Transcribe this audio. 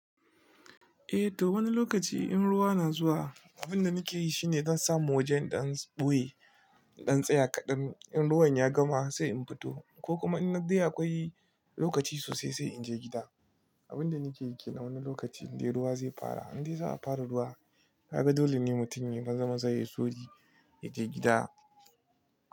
Eh to wani lokaci in ruwa na zuwa, abin da nake yi shine zan samu wajen in dan ɓoye, in tsaya kaɗan. In ruwan ya gama sai in fito ko kuma in na dai akwai lokaci sosai sai in je gida. Abin da nake yi ke nan wani lokaci in dai ruwa zai fara, in dai za a fara ruwa. Ka ga dole ne mutum ya maza maza ya sauri ya je gida.